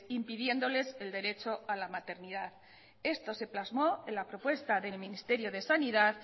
impidiéndoles el derecho a la maternidad esto se plasmó en la propuesta del ministerio de sanidad